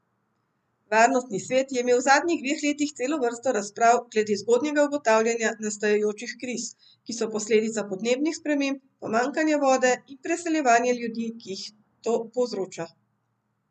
Varnostni svet je imel v zadnjih dveh letih celo vrsto razprav glede zgodnjega ugotavljanja nastajajočih kriz, ki so posledica podnebnih sprememb, pomanjkanja vode in preseljevanja ljudi, ki jih to povzroča.